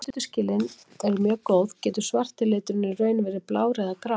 Í einni frásögn sem gerist í Noregi er orðið húskarl líka notað um smábónda.